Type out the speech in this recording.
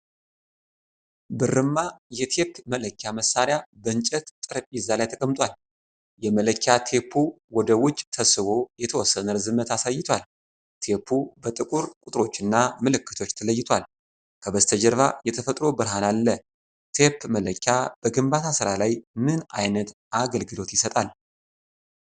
ብርማ የቴፕ መለኪያ መሳሪያ በእንጨት ጠረጴዛ ላይ ተቀምጧል። የመለኪያ ቴፑ ወደ ውጭ ተስቦ የተወሰነ ርዝመት አሳይቷል። ቴፑ በጥቁር ቁጥሮችና ምልክቶች ተለይቷል። ከበስተጀርባ የተፈጥሮ ብርሃን አለ። ቴፕ መለኪያ በግንባታ ሥራ ላይ ምን ዓይነት አገልግሎት ይሰጣል?